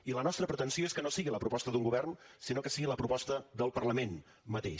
i la nostra pretensió és que no sigui la proposta d’un govern sinó que sigui la proposta del parlament mateix